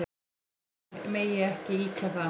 Þó megi ekki ýkja það.